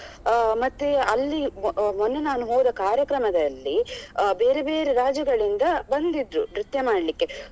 ಅಹ್ ಮತ್ತೆ ಅಲ್ಲಿ ಮೊನ್ನೆ ನಾನು ಹೋದ ಕಾರ್ಯಕ್ರಮದಲ್ಲಿ ಅಹ್ ಬೇರೆ ಬೇರೆ ರಾಜ್ಯಗಳಿಂದ ಬಂದಿದ್ರು ನೃತ್ಯ ಮಾಡ್ಲಿಕ್ಕೆ.